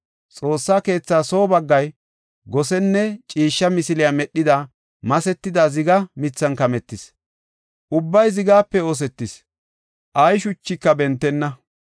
Xoossa keetha soo baggay gosenne ciishsha misiliya medhida masetida ziga mithan kametis; ubbay zigape oosetis; ay shuchika bentenna.